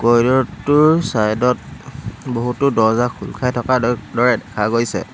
কৰিডৰটোৰ চাইডত বহুতো দৰ্জা খোল খাই থকাৰ দ দৰে দেখা গৈছে।